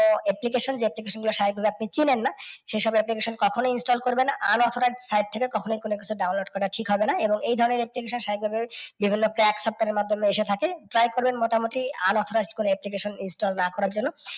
ও application যে application গুলোর আপনি ছিনেন না, সে সব application কখনই install করবেন না। unauthorized site থেকে কখনই কোনও কিছু download করা ঠিক হবেনা। এবং এই ধরণের extension সাভাবিক ভাবেই বিভিন্ন আপনার মাধ্যমে এসে থাকে। Try করবেন মোটামুটি unauthorized কোনও application install না করার জন্য।